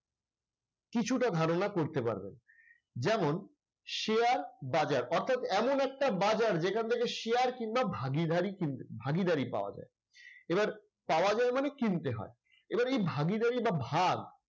কিছুটা ধারণা করতে পারবেন। যেমন শেয়ার বাজার। অর্থাৎ এমন একটা বাজার যেখান থেকে শেয়ার কিংবা ভাগীদারি কিন ভাগীদারি পাওয়া যায়। এবার পাওয়া যায় মানে কিনতে হয়। এবার এই ভাগীদারি কিংবা ভাগ